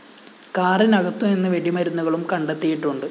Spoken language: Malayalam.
കാറിനകത്തു നിന്ന് വെടിമരുന്നുകളും കണ്ടെത്തിയിട്ടുണ്ട്